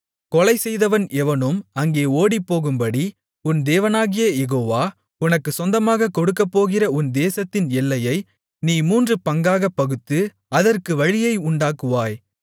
கொலைசெய்தவன் எவனும் அங்கே ஓடிப்போகும்படி உன் தேவனாகிய யெகோவா உனக்குச் சொந்தமாகக் கொடுக்கப்போகிற உன் தேசத்தின் எல்லையை நீ மூன்று பங்காகப் பகுத்து அதற்கு வழியை உண்டாக்குவாய்